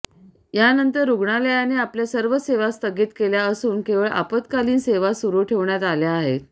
यानंतर रुग्णालयाने आपल्या सर्व सेवा स्थगित केल्या असून केवळ आपातकालीन सेवा सुरु ठेवण्यात आल्या आहेत